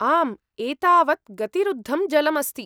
आम्, एतावत् गतिरुद्धं जलम् अस्ति।